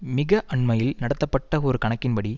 மிக அண்மையில் நடத்தப்பட்ட ஒரு கணக்கின்படி